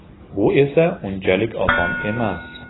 Bu esa unchalik oson emas.